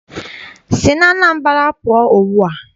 Si n'Anambra pụọ ugbua!